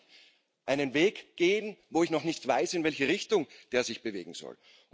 Ich kann doch nicht einen Weg gehen, bei dem ich noch nicht weiß, in welche Richtung der sich bewegen soll.